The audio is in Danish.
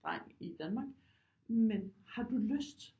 Dreng i Danmark men har du lyst